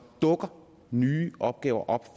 dukker nye opgaver